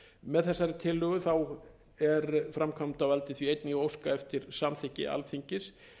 með þessari tillögu er framkvæmdarvaldið því einnig að óska eftir samþykki alþingis